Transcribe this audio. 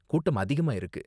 கூட்டம் அதிகமாயிருக்கு.